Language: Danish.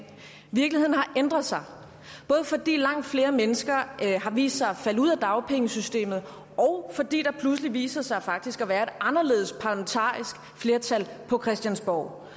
virkeligheden har ændret sig både fordi langt flere mennesker har vist sig at falde ud af dagpengesystemet og fordi der pludselig viser sig faktisk at være et anderledes parlamentarisk flertal på christiansborg